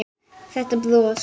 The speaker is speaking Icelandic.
Þetta bros!